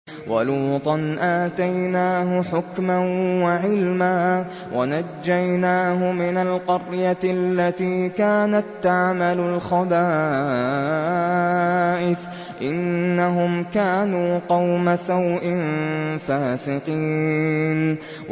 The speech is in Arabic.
وَلُوطًا آتَيْنَاهُ حُكْمًا وَعِلْمًا وَنَجَّيْنَاهُ مِنَ الْقَرْيَةِ الَّتِي كَانَت تَّعْمَلُ الْخَبَائِثَ ۗ إِنَّهُمْ كَانُوا قَوْمَ سَوْءٍ فَاسِقِينَ